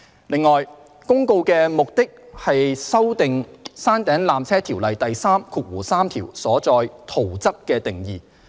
另外，《公告》旨在修訂《條例》第33條所載"圖則"的定義。